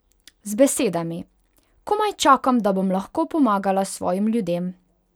Z besedami: "Komaj čakam, da bom lahko pomagala svojim ljudem.